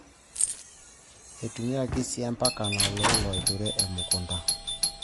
Eitumiyaki sii empanka naololo aaturie emukunta.